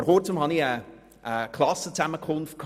Vor kurzem war ich an einer Klassenzusammenkunft.